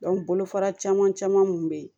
bolofara caman caman kun bɛ yen